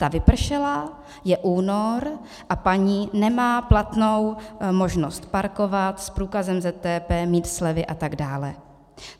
Ta vypršela, je únor a paní nemá platnou možnost parkovat s průkazem ZTP, mít slevy a tak dále.